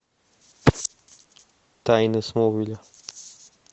тайны смолвиля